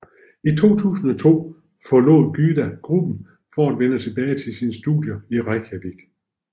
I 2002 forlod Gyða gruppen for at vende tilbage til sine studier i Reykjavik